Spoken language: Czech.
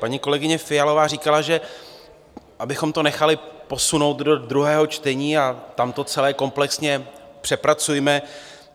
Paní kolegyně Fialová říkala, že abychom to nechali posunout do druhého čtení a tam to celé komplexně přepracujme.